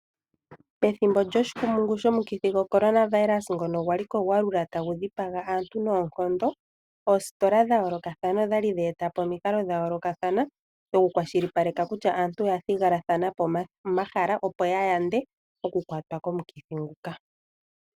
Pethimbo lyomukithi wo korona vayirasa ngono wali ko gwalula tagu dhipaga aantu noonkondo. Oositola dha yoolokathana odha li dha eta po omikalo dha yoolokathana dho ku kwa shilipaleka kutya aantu oya thigilathana po omahala. Opo ya yande oku kwatwa komukithi nguka.